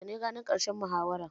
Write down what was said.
Yaushe ne ranar ƙarshen muhawaran?